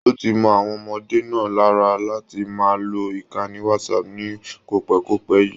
O tí mọ àwọn ọmọdé náà lára láti máa lò ìkànnì Whatsapp ní kopẹ̀kopẹ̀ yìí.